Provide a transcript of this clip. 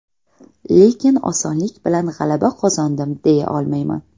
Lekin osonlik bilan g‘alaba qozondim, deya olmayman.